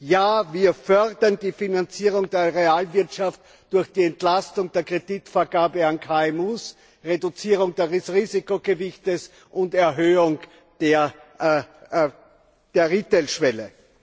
Ja, wir fördern die Finanzierung der Realwirtschaft durch die Entlastung der Kreditvergabe an KMU, die Reduzierung des Risikogewichts und die Erhöhung der Retail Schwelle.